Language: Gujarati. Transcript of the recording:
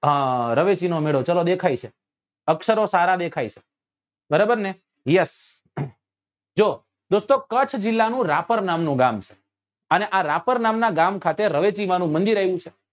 હા રવેચી નો મેળો ચલો દેખાય છે અક્ષરો સારા દેખાય છે બરાબર ને yes જો દોસ્તો કચ્છ જીલ્લા નું રાપર નામ નું ગામ અને આ રાપર નામ નાં ગામ ખાતે રવેચી માં નું મંદિર આવ્યું છે